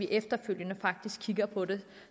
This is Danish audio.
efterfølgende faktisk at kigge på det